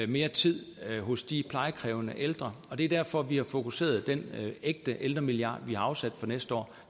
mere tid hos de plejekrævende ældre og det er derfor vi har fokuseret den ægte ældremilliard vi har afsat for næste år